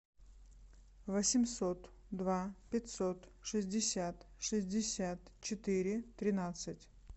восемьсот два пятьсот шестьдесят шестьдесят четыре тринадцать